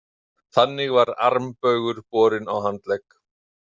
Þannig var armbaugur borinn á handlegg.